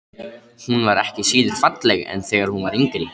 Hún var ekki síður falleg en þegar hún var yngri.